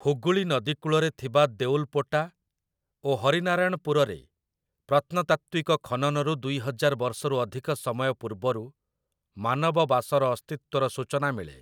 ହୁଗୁଳି ନଦୀ କୂଳରେ ଥିବା ଦେଉଲପୋଟା ଏବଂ ହରିନାରାୟଣପୁରରେ ପ୍ରତ୍ନତାତ୍ତ୍ୱିକ ଖନନରୁ ଦୁଇହଜାର ବର୍ଷରୁ ଅଧିକ ସମୟ ପୂର୍ବରୁ ମାନବ ବାସର ଅସ୍ତିତ୍ୱର ସୂଚନା ମିଳେ ।